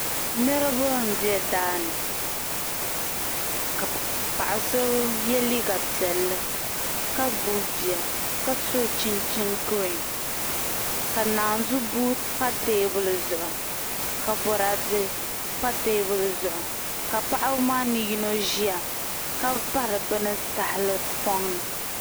Niraba n bɛ daani ka paɣa so yɛ liiga piɛlli ka gbubi bia ka so chinchin giriin ka naanzu buu pa teebuli zuɣu ka Boraadɛ pa teebuli zuɣu ka paɣaba maa ni yino ʒiya ka pari bini tahapoŋ ni